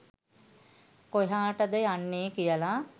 කොහාටද යන්නේ කියලා.